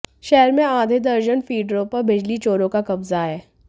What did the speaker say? शहर मेें आधे दर्जन फीडरों पर बिजली चोरों का कब्जा है